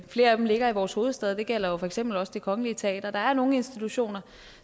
flere af dem ligger i vores hovedstad det gælder jo for eksempel også det kongelige teater der er nogle institutioner